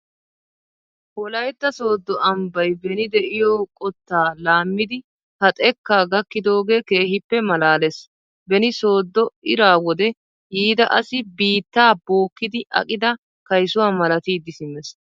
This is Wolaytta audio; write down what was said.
Wolaytta sooddo ambbay beni de'iyo qottaa laammidi ha xekkaa gakkidoogee keehippe maalaalees. Beni sooddo ira wode yiida asi biittaa bookkiiddi aqida kaysuwa malatidi simmees.